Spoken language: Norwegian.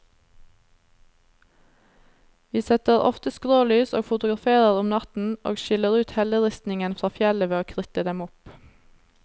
Vi setter ofte skrålys og fotograferer om natten, og skiller ut helleristningen fra fjellet ved å kritte dem opp.